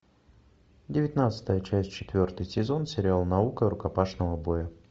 девятнадцатая часть четвертый сезон сериал наука рукопашного боя